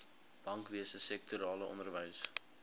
bankwese sektorale onderwys